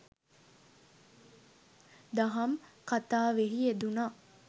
දහම් කථාවෙහි යෙදුනා.